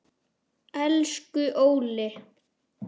Elsku Óli.